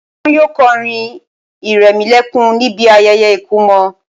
Wọn yóò kọrin ìrẹmọlẹ́kún níbi ayẹyẹ ìkọmọ